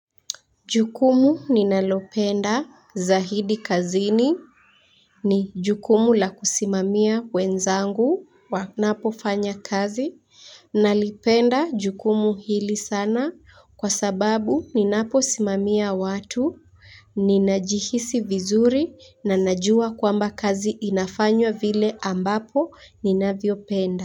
Jukumu ninalopenda zahidi kazini ni jukumu la kusimamia wenzangu wanapo fanya kazi nalipenda jukumu hili sana kwa sababu ninapo simamia watu ninajihisi vizuri na najua kwamba kazi inafanywa vile ambapo ninavyo penda.